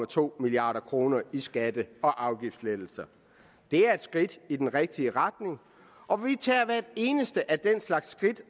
to milliard kroner i skatte og afgiftslettelser det er et skridt i den rigtige retning og vi tager hvert eneste af den slags skridt